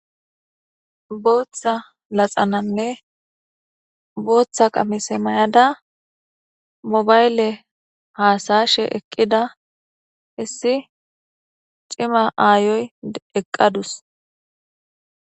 Booththa laxananne booththa qamise may7ada mobayle haasashe eqqida issi cima aayoy eqqadus.